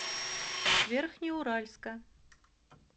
верхнеуральска